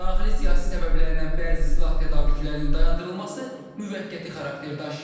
Daxili siyasi səbəblərdən bəzi silah tədarükünün dayandırılması müvəqqəti xarakter daşıyır.